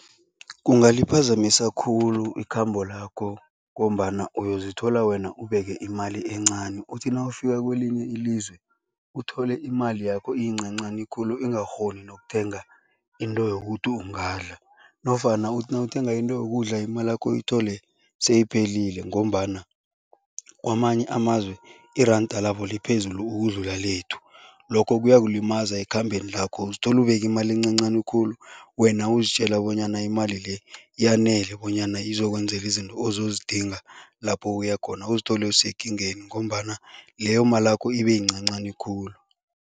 Kungaliphazamisa khulu ikhambo lakho ngombana uyozithola wena ubeke imali encani, uthi nawufika kwelinye ilizwe, uthole imali yakho iyincancani khulu ingakghoni nokuthenga into yokuthi ungadli nofana uthi nawuthenga into yokudla imalakho uyithole seyiphelile ngombana kwamanye amazwe iranda labo liphezulu ukudlula lethu. Lokho kuyakulimaza ekhambeni lakho, uzithola ubeke imali encancani khulu wena uzitjela bonyana imali le yanele bonyana izokwenzela izinto ozozidinga lapho uya khona, uzithole usekingeni ngombana leyo malakho ibe yincancani khulu.